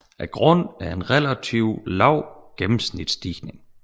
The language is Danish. Grunden er en relativt lav gennemsnitsstigning